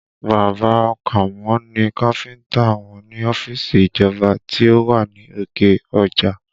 Bàbá a Kàmó ni káfíńtà wọn ní ọ́fíìsì ìjọba tí ó wà ní òkè ọjà